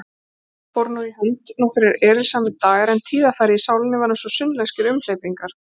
Fóru nú í hönd nokkrir erilsamir dagar, en tíðarfarið í sálinni var einsog sunnlenskir umhleypingar.